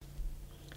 DR1